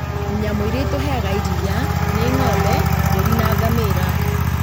Nyamũ irĩa itũheaga iria nĩ ng'ombe, mbũri na ngamĩra